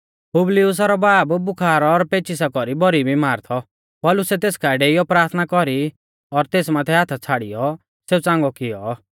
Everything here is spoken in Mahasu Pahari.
पुबलियुसा रौ बाब बुखार और पेचिसा कौरी भौरी बिमार थौ पौलुसै तेस काऐ डेइयौ प्राथना कौरी और तेस माथै हाथा छ़ाड़ियौ सेऊ च़ांगौ कियौ